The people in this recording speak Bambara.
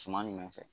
Suman jumɛn fɛ